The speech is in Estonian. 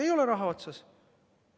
Ei ole raha otsas.